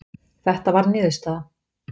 Þetta var niðurstaða